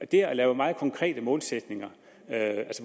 det at lave meget konkrete målsætninger